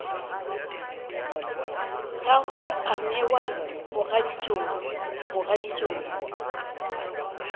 gagwe a newa mogaditšong mogaditšong